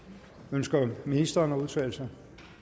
ønsker ministeren at udtale sig